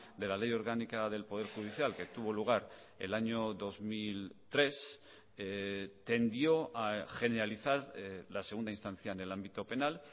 de la ley orgánica del poder judicial que tuvo lugar el año dos mil tres tendió a generalizar la segunda instancia en el ámbito penal